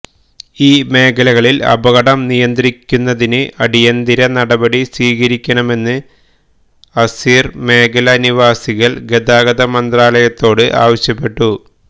ഈ മേഖലകളില് അപകടം നിയന്ത്രിക്കുന്നതിന് അടിയന്തര നടപടി സ്വീകരിക്കണമെന്ന് ആസിര് മേഖലാ നിവാസികള് ഗതാഗത മന്ത്രാലയത്തോട് ആവശ്യപ്പെട്ടു